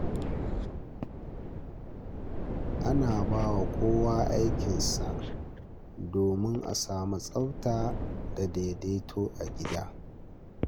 Ana bawa kowa aikinsa domin a samu tsafta da daidaito a gida.